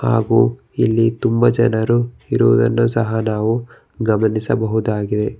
ಹಾಗು ಇಲ್ಲಿ ತುಂಬ ಜನರು ಇರುವುದನ್ನು ಸಹ ನಾವು ಗಮನಿಸಬಹುದಾಗಿದೆ.